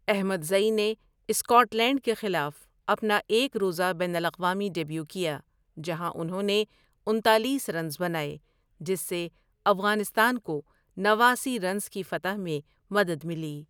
احمد زئی نے Scotland کے خلاف اپنا ایک روزہ بین الاقوامی ڈیبیو کیا جہاں انہوں نے انتالیس رنز بنائے، جس سے افغانستان کو نواسی رنز کی فتح میں مدد ملی ۔